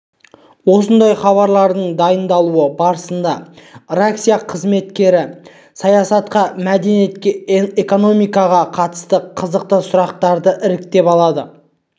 осындай хабарлардың дайындалуы барысында редакция қызметкерлері саясатқа мәдениетке экономикаға қатысты қызықты сұрақтарды іріктеп алады